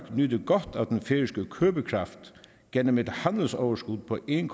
nyder godt af den færøske købekraft gennem et handelsoverskud på en